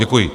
Děkuji.